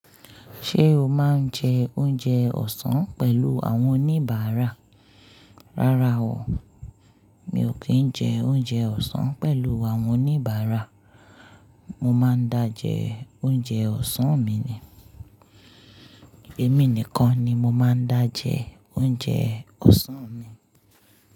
Ṣé o máa ń jẹ oúnjẹ ọ̀sán pẹ̀lú àwọn oníbàárà? Rárá o, mi ò kí ń jẹ oúnjẹ ọ̀sán pẹ̀lú àwọn oníbàárà. Mo máa ń dá jẹ oúnjẹ ọ̀sán mi ni, èmi nìkan ni mo máa ń dá jẹ oúnjẹ ọ̀sán mi.